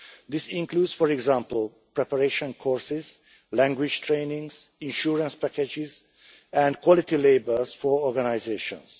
This includes, for example, preparation courses, language training, insurance packages and quality labels for organisations.